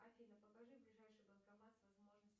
афина покажи ближайший банкомат с возможностью